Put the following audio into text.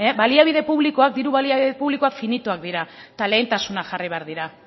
baliabide publikoak diru baliabide publikoak finitoak dira eta lehentasunak jarri behar dira